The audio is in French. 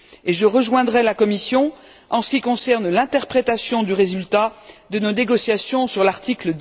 Je rejoindrai la Commission en ce qui concerne l'interprétation du résultat de nos négociations sur l'article